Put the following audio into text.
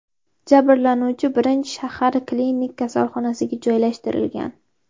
Jabrlanuvchi birinchi shahar klinik kasalxonasiga joylashtirilgan.